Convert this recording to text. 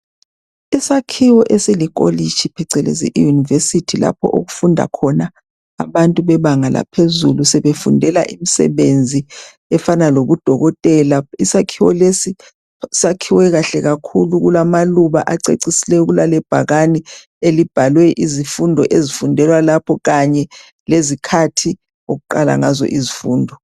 Isakhiwo esilikolitshi phecelezi i yunivesithi lapho okufunda khona abantu bebanga laphezulu sebefundela imisebenzi efana lobu dokotela. Isakhiwo lesi sakhwe kahle kakhulu okulamaluba acecisileyo kulale bhakane elibhalwe izifundo ezifundelwa lapho kanye lezikhathi okuqala ngazo izifundo.